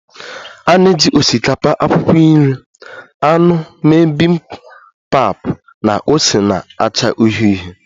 A na-eji osikapa, akwụkwọ nri, anụ mee Bibimpap na ose na-acha uhie uhie